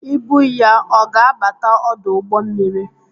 Ibu ya ọ ga-abata ọdụ ụgbọ mmiri?